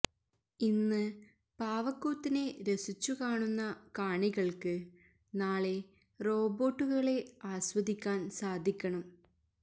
ഇന്ന് പാവക്കൂത്തിനെ രസിച്ചു കാണുന്ന കാണികള്ക്കു നാളെ റോബോട്ടുകളെ ആസ്വദിക്കാന് സാധിക്കണം